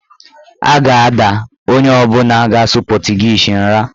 A ga-ada onye ọbụla ga-asụ pọtụgiizi nra.